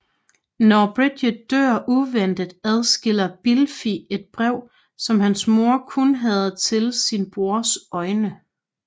Når Bridget dør uventet adskiller Blifil et brev som hans mor kun havde til sin brors øjne